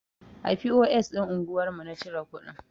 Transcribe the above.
A POS ɗin anguwar mu na cire kuɗin.